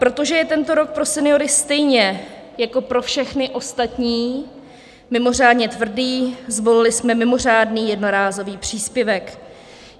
Protože je tento rok pro seniory stejně jako pro všechny ostatní mimořádně tvrdý, zvolili jsme mimořádný jednorázový příspěvek.